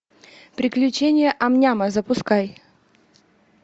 приключения ам няма запускай